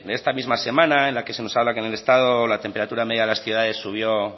de esta misma semana en la que se nos habla que en el estado la temperatura media de las ciudades subió